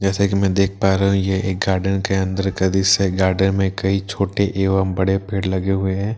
जैसे कि मैं देख पा रहा हूं ये एक गार्डन के अंदर का दृश्य है गार्डन में कई छोटे एवं बड़े पेड़ लगे हुए हैं।